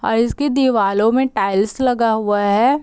अ उसकी दीवालों में टाइल्स लगा हुआ है।